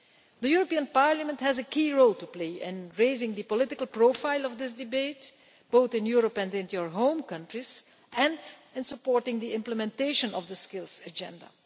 The European Parliament has a key role to play in raising the political profile of this debate, both in Europe and in your home countries and in supporting the implementation of the Skills Agenda.